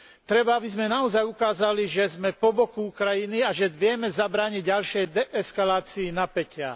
Treba, aby sme naozaj ukázali, že sme po boku Ukrajiny a že vieme zabrániť ďalšej eskalácii napätia.